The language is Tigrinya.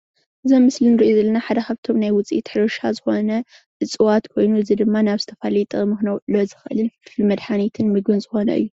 እዚ ኣብ መስሊ ንሪኦ ዘለና ሓደ ካብቶም ናይ ውፅኢት ሕርሻ ዝኾነ እፅዋት ኮይኑ እዚ ድማ ናብ ዝተፈላለየ ጥቕሚ ክነውዕሎ ዝኽእልን ንመድሓኒትን ምግብን ዝኾነ እዩ።